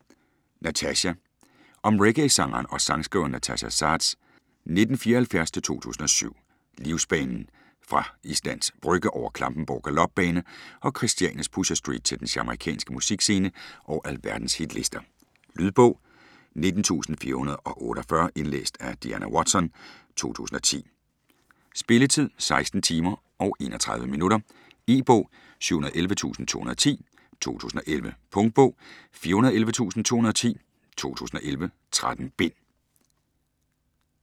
Natasja Om reggaesangeren og sangskriveren Natasja Saads (1974-2007) livsbane fra Islands Brygge over Klampenborg Galopbane og Christianias Pusher Street til den jamaicanske musikscene og alverdens hitlister. Lydbog 19448 Indlæst af Diana Watson, 2010. Spilletid: 16 timer, 31 minutter. E-bog 711210 2011. Punktbog 411210 2011. 13 bind.